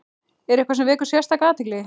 Er eitthvað sem vekur sérstaka athygli?